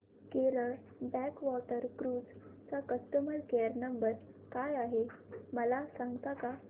Kerala backwater cruise चा customer care number काय आहे मला सांगता का